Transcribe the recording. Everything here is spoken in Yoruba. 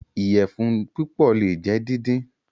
Iyẹfun pípò le jẹ díndín.